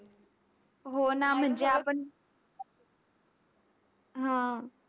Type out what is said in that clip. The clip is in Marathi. हो ना. म्हणजे आपण हा.